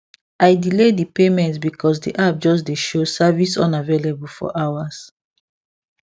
i delay the payment because the app just dey show service unavailable for hours